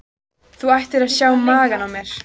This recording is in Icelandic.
Þú ættir að sjá magann á mér.